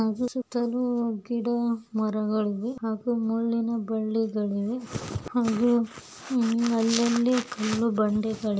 ಹಾಗು ಸುತ್ತಲು ಗಿಡ ಮರಗಳು ಹಾಗು ಮುಳ್ಳಿನಿ ಬಳ್ಳಿಗಳು ಇವೆ ಹಾಗು ಅಲ್ಲಲ್ಲಿ ಕಲ್ಲು ಬಂಡೆಗಳು --